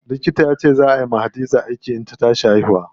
Likita yace zaa ay wa Hadiza aiki idan ta tashi haihuwa.